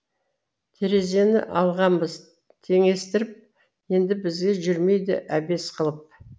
терезені алғанбыз теңестіріп енді бізге жүрмейді әбес қылып